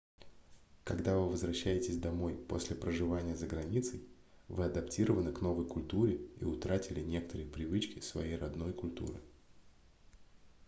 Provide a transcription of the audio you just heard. когда вы возвращаетесь домой после проживания за границей вы адаптированы к новой культуре и утратили некоторые привычки своей родной культуры